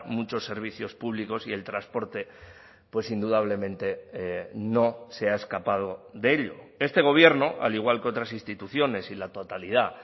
muchos servicios públicos y el transporte pues indudablemente no se ha escapado de ello este gobierno al igual contras instituciones y la totalidad